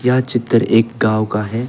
यह चित्र एक गांव का है।